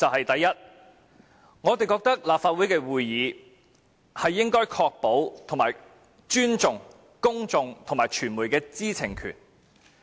第一，立法會會議應確保及尊重公眾及傳媒的知情權。